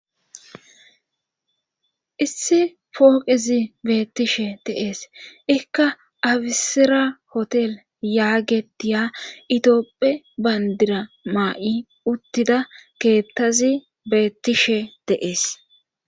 Issi pooqezi beettishe deees ikka afisira hotel yaagetiya itioopphe bayndira maa'i uttida keettazi beettishe deees.